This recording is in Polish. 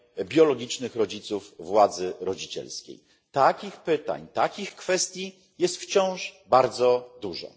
biologicznych rodziców władzy rodzicielskiej. Takich kwestii jest wciąż bardzo dużo.